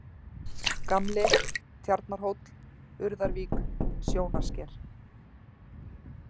Gamli, Tjarnarhóll, Urðarvík, Sjónarsker